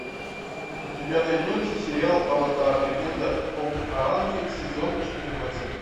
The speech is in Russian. у тебя найдется сериал аватар легенда об аанге сезон четырнадцать